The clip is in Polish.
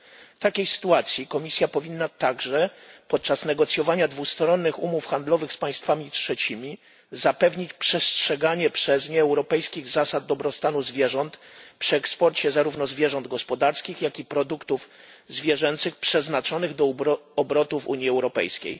W takiej sytuacji Komisja powinna także, podczas negocjowania dwustronnych umów handlowych z państwami trzecimi, zapewnić przestrzeganie przez nie europejskich zasad dobrostanu zwierząt przy eksporcie zarówno zwierząt gospodarskich, jak i produktów zwierzęcych przeznaczonych do obrotu w Unii Europejskiej.